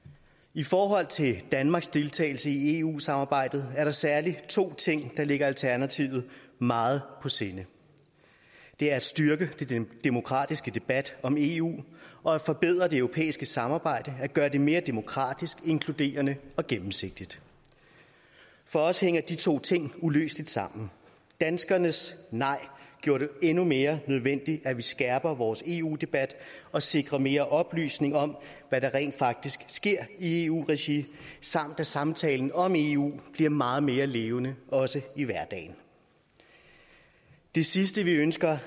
i forhold til danmarks deltagelse i eu samarbejdet er der særlig to ting der ligger alternativet meget på sinde det er at styrke den demokratiske debat om eu og at forbedre det europæiske samarbejde gøre det mere demokratisk inkluderende og gennemsigtigt for os hænger de to ting uløseligt sammen danskernes nej gjorde det endnu mere nødvendigt at vi skærper vores eu debat og sikrer mere oplysning om hvad der rent faktisk sker i eu regi samt at samtalen om eu bliver meget mere levende også i hverdagen det sidste vi ønsker